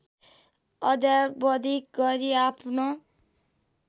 अद्यावधिक गरी आफ्नो